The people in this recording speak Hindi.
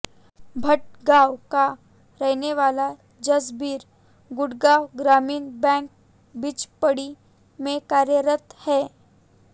भठगांव का रहने वाला जसबीर गुड़गांव ग्रामीण बैंक बिचपड़ी में कार्यरत है